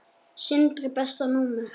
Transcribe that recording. Sindri Besta númer?